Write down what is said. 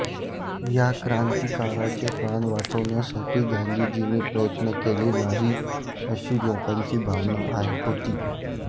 या क्रांतीकारकाचे प्राण वाचवण्यासाठी गाधीजीनी प्रयत्न केले नाहीत अशी लोकांची भावना होती